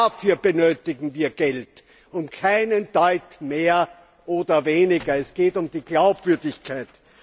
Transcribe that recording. Dafür benötigen wir Geld und keinen Deut mehr oder weniger. Es geht um die Glaubwürdigkeit.